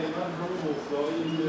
Həmən o mufları.